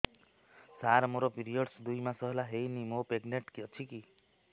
ସାର ମୋର ପିରୀଅଡ଼ସ ଦୁଇ ମାସ ହେଲା ହେଇନି ମୁ ପ୍ରେଗନାଂଟ ଅଛି କି